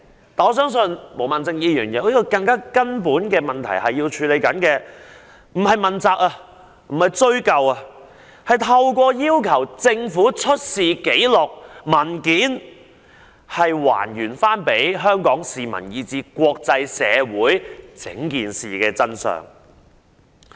但是，我相信毛孟靜議員要處理的是更根本的問題，並非要向官員問責和追究責任，而是要透過要求政府出示紀錄和文件，向香港市民以至國際社會還原事件的真相。